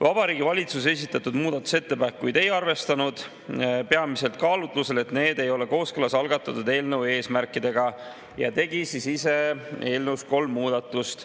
Vabariigi Valitsus esitatud muudatusettepanekuid ei arvestanud, peamiselt kaalutlusel, et need ei ole kooskõlas algatatud eelnõu eesmärkidega, ja tegi ise eelnõus kolm muudatust.